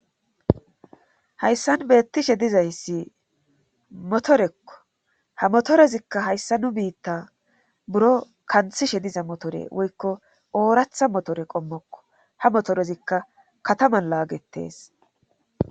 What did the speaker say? Hayssan beettishe dizayssi motorekko ha motorezikka hayssa nu biitta buro kanthishe diza motore woykko ooratha motore qommokko ha motorezikka kataman laagetees